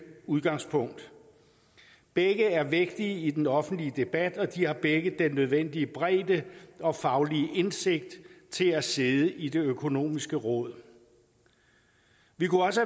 udgangspunkt begge er vægtige i den offentlige debat og de har begge den nødvendige bredde og faglige indsigt til at sidde i det økonomiske råd vi kunne også